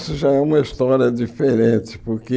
Isso já é uma história diferente, porque...